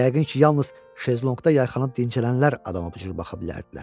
yəqin ki, yalnız şezlonqda yayxanıb dincələnlər adama bu cür baxa bilərdilər.